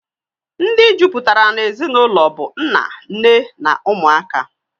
Ndi jụpụtara na-ezinaụlọ bụ nna, nne na ụmụaka